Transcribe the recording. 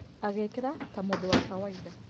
Agĩkĩra ta mũndũ wa kawaida.